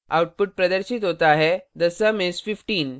output प्रदर्शित होता है the sum is 15